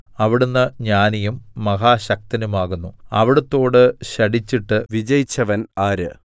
അവിടുന്ന് ജ്ഞാനിയും മഹാശക്തനുമാകുന്നു അവിടുത്തോട് ശഠിച്ചിട്ട് വിജയിച്ചവൻ ആര്